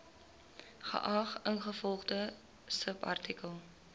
geag ingevolge subartikel